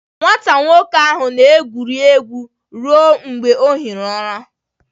Nwatakịrị nwoke ahụ na-egwuri egwu ruo mgbe ọ hie ụra.